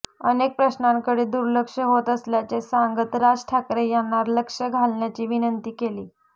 अनेक प्रश्नांकडे दुर्लक्ष होत असल्याचे सांगत राज ठाकरे यांना लक्ष घालण्याची विनंती केली